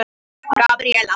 Gabríella